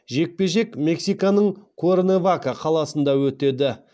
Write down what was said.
жекпе жек мексиканың куэрнавака қаласында өтеді